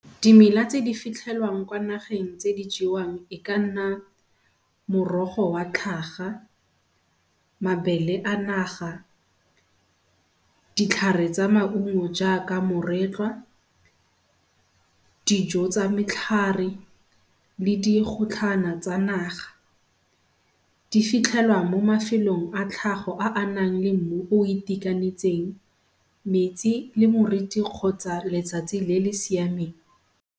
Dimela tse di fitlhelwang nageng tse di jewang e ka nna morogo wa tlhaga, mabele a naga, ditlhare tsa maungo jaaka moretlwa, dijo tsa metlhare le digotlhana tsa naga. Di fitlhelwa mo mafelong a tlhago a a nang le mmu o o itekanetseng, metsi le moriti kgotsa letsatsi le le siameng.